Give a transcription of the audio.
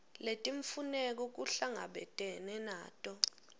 letimfuneko kuhlangabetene nato